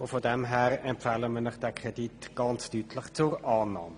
Von daher empfehlen wir Ihnen diesen Kredit ganz deutlich zur Annahme.